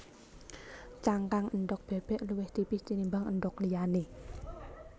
Cangkang endhog bébék luwih tipis tinimbang endhog liyané